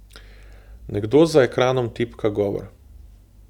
Nekdo za ekranom tipka govor.